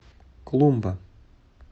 клумба